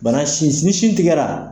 Bana sin ni sin tigɛra